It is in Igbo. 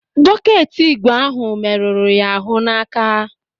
Bọket ígwè ahụ merụrụ ya ahụ n'aka.